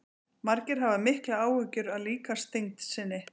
margir hafa miklar áhyggjur af líkamsþyngd sinni